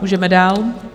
Můžeme dál.